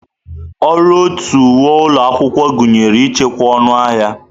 Uru ọtu uwe ụlọ akwụkwọ gụnyere ichekwa ọnụ ahịa.